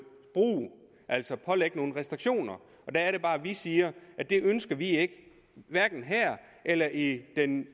brug altså pålægge nogle restriktioner der er det bare vi siger at det ønsker vi ikke hverken her eller i den